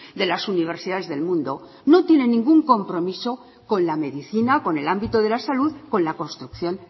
de las universidades del mundo no tiene ningún compromiso con la medicina con el ámbito de la salud con la construcción